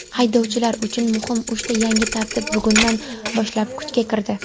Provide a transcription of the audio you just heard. Haydovchilar uchun muhim uchta yangi tartib bugundan boshlab kuchga kirdi.